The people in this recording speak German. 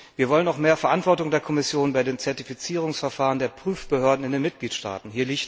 Wir wollen auch mehr Verantwortung der Kommission bei den Zertifizierungsverfahren der Prüfbehörden in den Mitgliedstaaten.